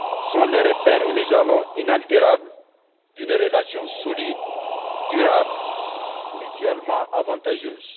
sont les repères et les jalons inaltérables d'une relation solide, durable, mutuellement avantageuse.